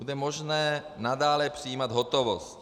Bude možné nadále přijímat hotovost.